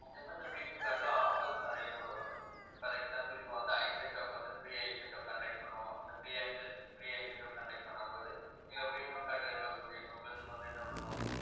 okay ma'am இந்த premium card ல, offers ம் நிறைய போடுவாங்க for example இப்ப வந்து, eye checkup வந்து, free eye checkup conduct பண்ணுவோம். அந்த free eye check up பண்ணும்போது எங்க premium card இருக்கக்கூடிய members க்கு வந்து என்ன பண்ணுவோம்